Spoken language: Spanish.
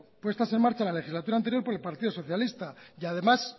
puestas en marcha la legislatura anterior por el partido socialista y además